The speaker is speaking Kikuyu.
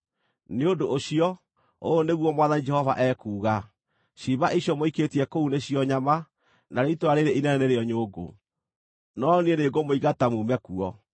“Nĩ ũndũ ũcio, ũũ nĩguo Mwathani Jehova ekuuga: Ciimba icio mũikĩtie kũu nĩcio nyama, narĩo itũũra rĩĩrĩ inene nĩrĩo nyũngũ, no Niĩ nĩngũmũingata muume kuo.